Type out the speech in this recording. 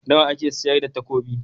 Nawa ake sayar da takobi?